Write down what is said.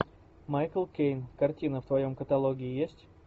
майкл кейн картина в твоем каталоге есть